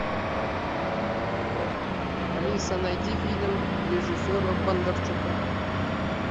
алиса найди фильм режиссера бондарчука